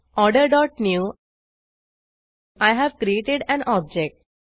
order dot newआय have created an object